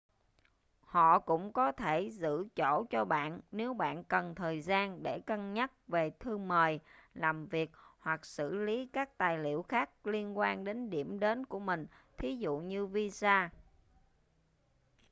họ cũng có thể giữ chỗ cho bạn nếu bạn cần thời gian để cân nhắc về thư mời làm việc hoặc xử lý các tài liệu khác liên quan đến điểm đến của mình thí dụ như visa